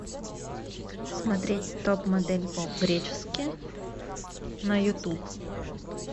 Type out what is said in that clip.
смотреть топ модель по гречески на ютуб